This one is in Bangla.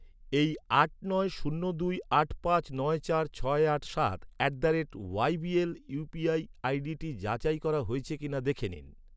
এই আট নয় শূন্য দুই আট পাঁচ নয় চার ছয় আট সাত at the rate Y B L UPI আইডিটি যাচাই করা হয়েছে কিনা দেখে নিন।